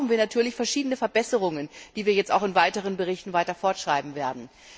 Dafür brauchen wir natürlich verschiedene Verbesserungen, die wir in weiteren Berichten fortschreiben werden.